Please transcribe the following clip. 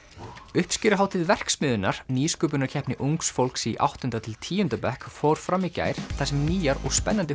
uppskeruhátíð verksmiðjunnar nýsköpunarkeppni ungs fólks í áttunda til tíunda bekk fór fram í gær þar sem nýjar og spennandi